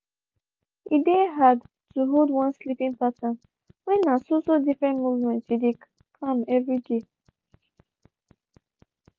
e dey hard to hold one sleeping pattern when na so so different movement u dey kam everyday